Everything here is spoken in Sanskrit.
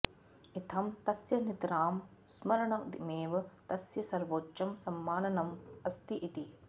इत्थं तस्य नितरां स्मरणमेव तस्य सर्वोच्चं सम्माननम् अस्ति इति